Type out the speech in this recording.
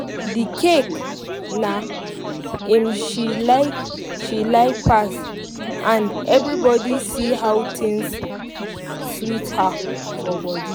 the cake na im she like she like pass and everybody see how the thing sweet her for body